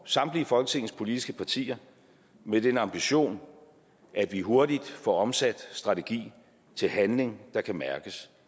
samtlige folketingets politiske partier med den ambition at vi hurtigt får omsat strategi til handling der kan mærkes